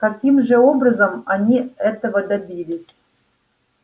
каким же образом они этого добились